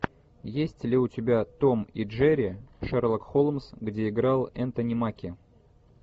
есть ли у тебя том и джерри шерлок холмс где играл энтони маки